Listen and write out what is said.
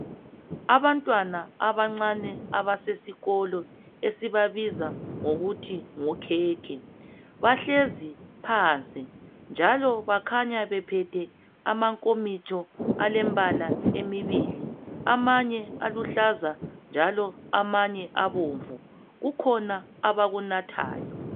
Abantwana abancane abasesikolo esibabiza ngokuthi ngokhekhe. Bahlezi phansi, njalo bakhanya bephethe amankomitsho alembala emibili. Amanye aluhlaza, njalo amanye abomvu. Kukhona abakunathayo.